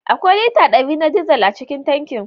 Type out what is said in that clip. Akwai lita dari na dizal a cikin tankin.